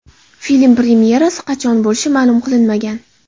Film premyerasi qachon bo‘lishi ma’lum qilinmagan.